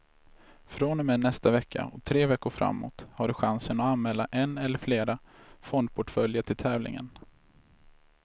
Från och med nästa vecka och tre veckor framåt har du chansen att anmäla en eller flera fondportföljer till tävlingen.